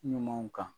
Ɲumanw kan